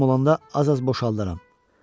Lazım olanda az-az boşaldaram.